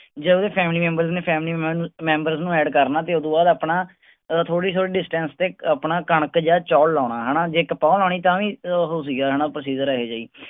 ਜੇਹੋਜੇ family member ਨੇ family member ਨੂੰ add ਕਰਨਾ ਤੇ ਉਹਦੋਂ ਬਾਅਦ ਅਪਣਾ ਓ ਥੋੜੀ ਥੋੜੀ distance ਤੇ ਆਪਣਾ ਕਣਕ ਜਾਂ ਚੌਲ ਲੋਣਾ ਹੈਨਾ ਜੇ ਕਪਾਹ ਲਾਣੀ ਤਾਂ ਵੀ ਇੱਕ ਓਹੋ ਸੀਗਾ ਹੈਨਾ procedure ਹੈਗਾ ਇਹੋ ਜਾਈ।